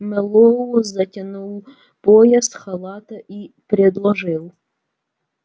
мэллоу затянул пояс халата и предложил